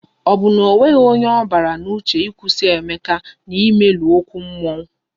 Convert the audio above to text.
Ọ bụ na onweghi onye ọ gbara n'uche ịkwụsị Emeka na imelu ókwú mmụọ?